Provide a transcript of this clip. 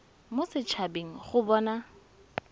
mo set habeng go bona